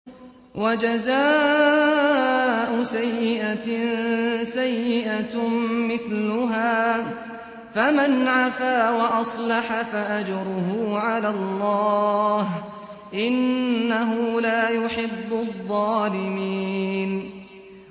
وَجَزَاءُ سَيِّئَةٍ سَيِّئَةٌ مِّثْلُهَا ۖ فَمَنْ عَفَا وَأَصْلَحَ فَأَجْرُهُ عَلَى اللَّهِ ۚ إِنَّهُ لَا يُحِبُّ الظَّالِمِينَ